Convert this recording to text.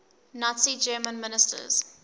nazi germany ministers